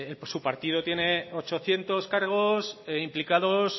su partido tiene ochocientos cargos e implicados